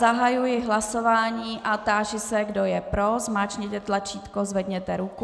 Zahajuji hlasování a táži se, kdo je pro, zmáčkněte tlačítko, zvedněte ruku.